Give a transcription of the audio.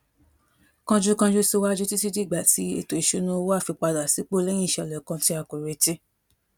kánjúkánjú síwájú títí dìgbà tí ètò ìṣúnná owó á fi padà sípò léyìn ìṣèlè kan tí a kò retí